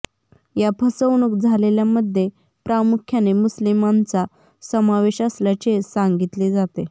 या फसवणूक झालेल्यांमध्ये प्रामुख्याने मुस्लीमांचा समावेश असल्याचे सांगितले जाते